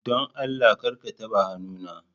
Don Allah kar a taɓa hannuna!